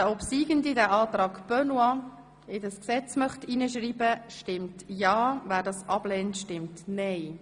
Wer den obsiegenden Antrag SVP Benoit in das Gesetz schreiben möchte, stimmt ja, wer dies ablehnt, stimmt nein.